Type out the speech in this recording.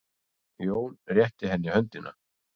Jón rétti henni höndina.